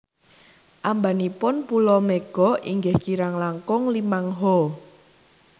Ambanipun pulo Mega inggih kirang langkung limang Ha